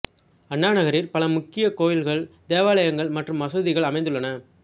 அண்ணா நகரில் பல முக்கிய கோயில்கள் தேவாலயங்கள் மற்றும் மசூதிகள் அமைந்துள்ளன